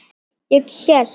Ég hélt.